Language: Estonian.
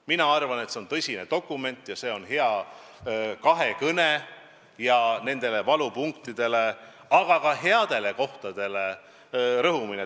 Ma arvan, et see on tõsine dokument ja see on hea kahekõne, milles rõhutakse valupunktidele, aga ka headele kohtadele.